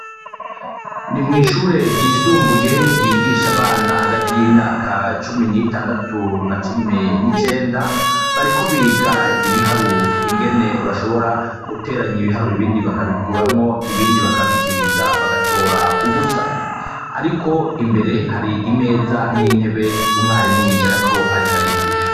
Ndi mwishure ryisumbuye ryigisha abana hagati yimyaka cumi n’itandatu na cumi n’icenda; bariko biga ibiharuro ingene boteranya ibiharuro ibindi bakabikuramwo ibindi bakabigwiza bagatoramwo ubusa .Imbere hari intebe umwarimu yicarako ariko arigisha .